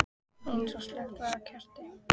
Eins og slökkt væri á kerti.